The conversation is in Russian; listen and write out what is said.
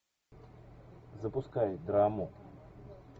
запускай драму